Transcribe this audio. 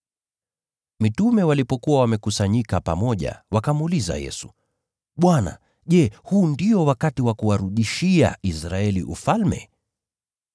Mitume walipokuwa wamekusanyika pamoja, wakamuuliza Yesu, “Bwana, je, huu ndio wakati wa kuwarudishia Israeli ufalme?”